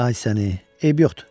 Ay səni, eybi yoxdur.